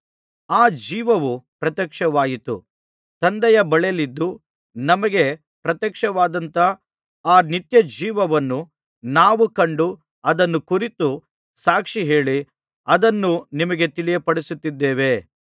ಆ ಜೀವವು ಪ್ರತ್ಯಕ್ಷವಾಯಿತು ತಂದೆಯ ಬಳಿಯಲ್ಲಿದ್ದು ನಮಗೆ ಪ್ರತ್ಯಕ್ಷವಾದಂಥ ಆ ನಿತ್ಯಜೀವವನ್ನು ನಾವು ಕಂಡು ಅದನ್ನು ಕುರಿತು ಸಾಕ್ಷಿ ಹೇಳಿ ಅದನ್ನು ನಿಮಗೆ ತಿಳಿಯಪಡಿಸುತ್ತಿದ್ದೇವೆ